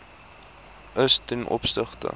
is ten opsigte